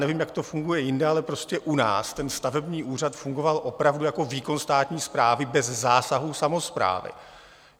Nevím, jak to funguje jinde, ale prostě u nás ten stavební úřad fungoval opravdu jako výkon státní správy bez zásahů samosprávy.